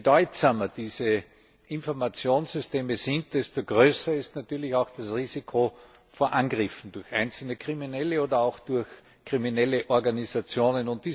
Je bedeutsamer diese Informationssysteme sind, desto größer ist natürlich auch das Risiko von Angriffen durch einzelne Kriminelle oder auch durch kriminelle Organisationen.